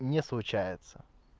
не случается